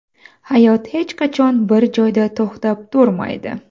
Hayot hech qachon bir joyda to‘xtab turmaydi.